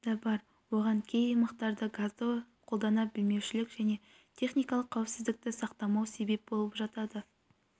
да бар оған кей аймақтарда газды қолдана білмеушілік және техникалық қауіпсіздікті сақтамау себеп болып жатады